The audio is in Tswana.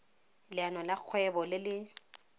leano la kgwebo le le